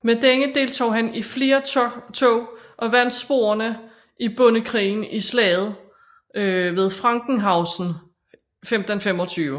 Med denne deltog han i flere tog og vandt sporerne i bondekrigen i Slaget ved Frankenhausen 1525